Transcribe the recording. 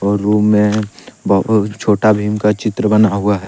और रूम में बहुत छोटा भीम का चित्र बना हुआ है।